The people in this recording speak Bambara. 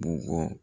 Bugɔ